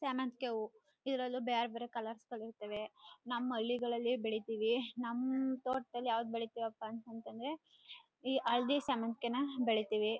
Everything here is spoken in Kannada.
ಸಾವಂತಿಗೆ ಹೂವು ಇದ್ರಲ್ಲೂ ಬ್ಯಾರ್ಬ್ಯಾರೇ ಕಲರ್ಸ್ ಗಳು ಇರ್ತವೆ ನಮ್ಮ ಹಳ್ಳಿಗಳಲೆ ಬೆಳಿತೀವಿ ನಮ್ಮ ತೋಟದಲ್ಲಿ ಯಾವದು ಬೆಳಿತೀವಿಪ ಅಂತ ಅಂದ್ರೆ ಈ ಹಳದಿ ಸಾವಂತಿಗೆನ ಬೆಳಿತೀವಿ.